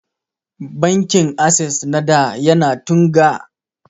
Bankin assess na da ya na Tunga